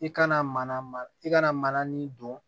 I kana mana i kana mana nin don